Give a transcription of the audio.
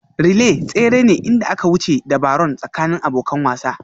Relay tsere ne inda aka wuce ta Barron tsakanin abokan wasan